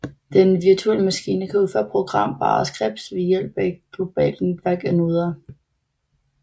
Den virtuelle maskine kan udføre programmerbare scripts ved hjælp af et globalt netværk af noder